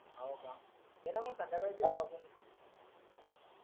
हो का ये न मंग संध्याकाळी भेटू आपण